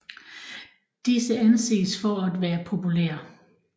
Disse anses for at være populære